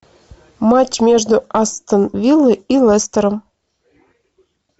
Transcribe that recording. матч между астон виллой и лестером